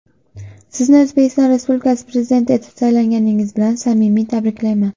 Sizni O‘zbekiston Respublikasi Prezidenti etib saylanganingiz bilan samimiy tabriklayman.